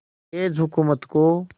अंग्रेज़ हुकूमत को